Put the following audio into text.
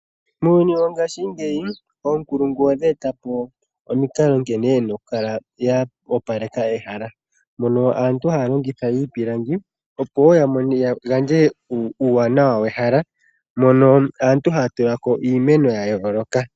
Muuyuni wongashingeyi oonkulungu odha etapo omikalo nkene yena okukala ya opaleka ehala, mono aantu haya longitha iipilangi opo woo ya gandje uuwanawa wehala mono aantu haya tulako iimeno yayooloka.